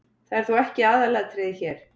Það er þó ekki aðalatriðið hér.